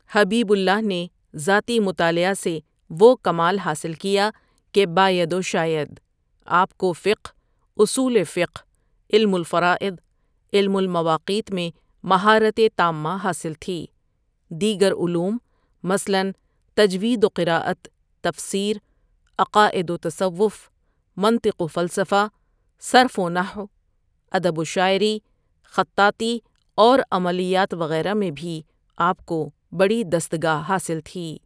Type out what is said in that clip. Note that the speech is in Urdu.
حبیب اللہ نے ذاتی مطالعہ سے وہ کمال حاصل کیا کہ باید و شاید آپ کو فقہ اصول فقہ، علم الفرائض، علم المواقیت میں مہارت تامہ حاصل تھی دیگر علوم مثلاً تجوید و قرات، تفسیر، عقائد و تصوف، منطق و فلسفہ، صرف و نحو، ادب و شاعری، خطاطی اور عملیات وغیرہ میں بھی آپ کو بڑی دستگاہ حاصل تھی۔